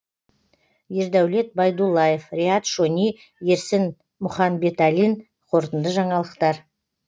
ердәулет байдуллаев риат шони ерсін мұханбеталин қорытынды жаңалықтар